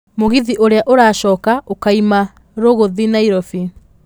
mũgithi ũrĩa ũracoka ũkaima rĩgũthiĩ nairobi